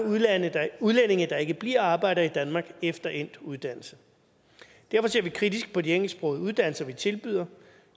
udlændinge der ikke bliver og arbejder i danmark efter endt uddannelse derfor ser vi kritisk på de engelsksprogede uddannelser vi tilbyder